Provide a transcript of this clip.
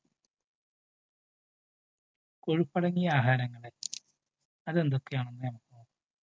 കൊഴുപ്പടങ്ങിയ ആഹാരങ്ങള് അതെന്തൊക്കെയാണെന്നു നോക്കാം.